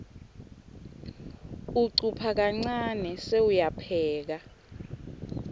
ucupha kancane sewuyapheka